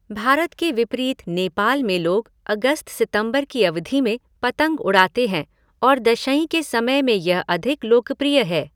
भारत के विपरीत नेपाल में लोग अगस्त सितंबर की अवधि में पतंग उड़ाते हैं और दशईं के समय में यह अधिक लोकप्रिय है।